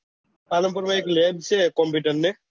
પાલનપુર માં એક લેન છે કમ્પ્યુટર નું